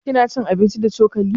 Kina cin abinci da cokali?